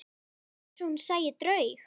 Það var eins og hún sæi draug.